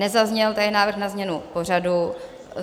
Nezazněl tady návrh na změnu pořadu.